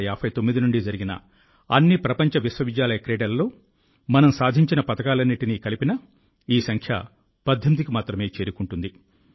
1959 నుండి జరిగిన అన్ని ప్రపంచ విశ్వవిద్యాలయ క్రీడలలో మేము సాధించిన పతకాలన్నింటినీ కలిపినా ఈ సంఖ్య 18కి మాత్రమే చేరుకుంటుంది